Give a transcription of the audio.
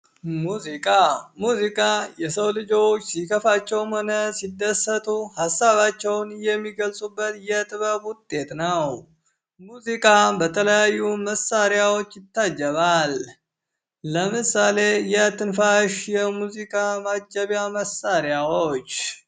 ሙዚቃ ሙዚቃ የሰው ልጆች ሲከፋቸውም ሆነ ሲደሰቱ ሀሳባቸውን የሚገልፁበት የጥበብ ውጤት ነው። ሙዚቃ በተለያዩ መሳሪያዎች ይታጀባል። ለምሳሌ የትንፋሽ የሙዚቃ ማጀቢያ መሳሪያዎች።